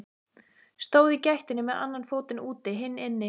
Stóð í gættinni með annan fótinn úti, hinn inni.